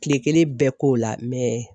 Tile kelen bɛɛ k'o la, mɛ